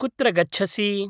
कुत्र गच्छसि?